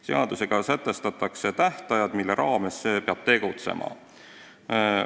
Seadusega sätestatakse tähtajad, mille raames peab tegutsema.